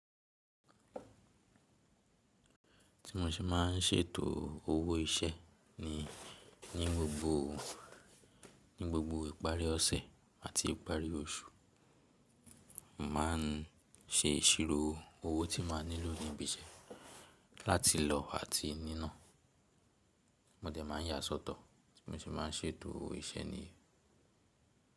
Tí mo ṣe máa ń ṣètoò owó iṣẹ́ ni ní gbogboo, ní gbogbo ìparí ọ̀sẹ̀ àti ìparí oṣù, n màá ń ṣe ìṣirò owó tí màá nílò níbi iṣẹ́ láti lò àti nínà. Mó dẹ̀ máa ń yàá sọ́tọ̀ tí mo ṣe máa ń ṣètoò iṣẹ́ niyen.